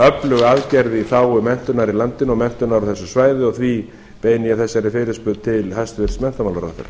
öflug aðgerð í þágu menntunar í landinu og menntunar á þessu svæði og því beini ég þessari fyrirspurn til hæstvirts menntamálaráðherra